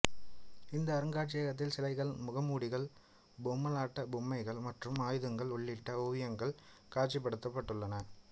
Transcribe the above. இந்த அருங்காட்சியகத்தில் சிலைகள் முகமூடிகள் பொம்மலாட்ட பொம்மைகள் மற்றும் ஆயுதங்கள் உள்ளிட்ட ஓவியங்கள் காட்சிப்படுத்தப்பட்டுள்ளன